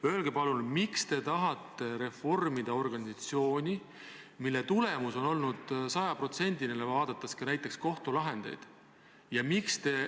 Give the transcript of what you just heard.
Öelge palun, miks te tahate reformida organisatsiooni, mille töö tulemus on olnud sajaprotsendiline, kui otsustada ka kohtulahendite järgi?